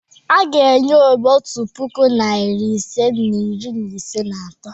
A ga-enye Obi otu puku, narị ise na iri ise na atọ.